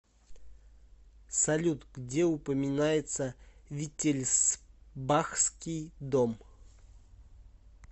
салют где упоминается виттельсбахский дом